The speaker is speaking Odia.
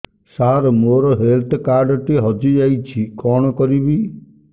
ସାର ମୋର ହେଲ୍ଥ କାର୍ଡ ଟି ହଜି ଯାଇଛି କଣ କରିବି